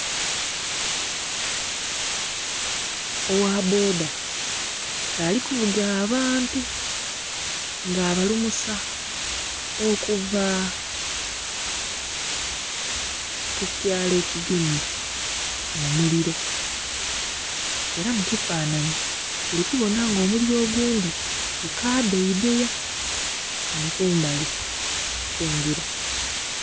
Owa bboda k'ali kuvuga abantu nga abalumusa okuva ku kyalo ekigemye omuliro. Era mu kifanhanhi tuli kubona nga omuliro ogundhi gukabeebeya, ghano kumbali okw'engira.